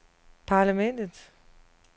parlamentet